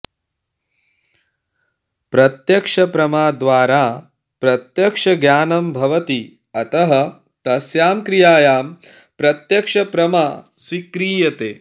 प्रत्यक्षप्रमाद्वारा प्रत्यक्षज्ञानं भवति अतः तस्यां क्रियायां प्रत्यक्षप्रमा स्वीक्रियते